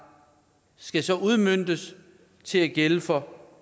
skal så udmøntes til at gælde for